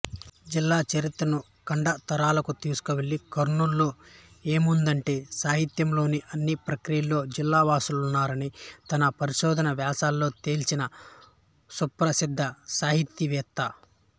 జిల్లా చరిత్రను ఖండాంతరాలకు తీసుకెళ్ళి కర్నూలులో ఏముందంటే సాహిత్యంలోని అన్ని ప్రక్రియల్లో జిల్లావాసులున్నారని తన పరిశోధన వ్యాసాల్లో తేల్చిన సుప్రసిద్ధసాహితీవేత్త